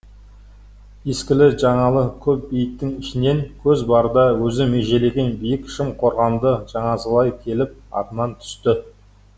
ескілі жаңалы көп бейіттің ішінен көз барда өзі межелеген биік шым қорғанды жанасалай келіп атынан түсті